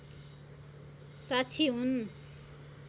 साक्षी हुन्